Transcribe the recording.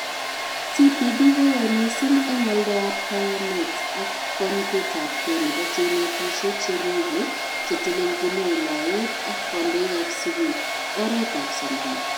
TPD koyae mising eng oldoab kayanet ak konyitetabke nebo cheinetishe, cheribe, chetelechni wilayet ak kondoikab skul, oretab somanet